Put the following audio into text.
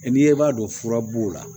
N'i ye b'a dɔn fura b'o la